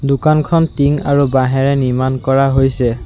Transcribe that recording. দোকানখন টিং আৰু বাঁহেৰে নিৰ্মাণ কৰা হৈছে।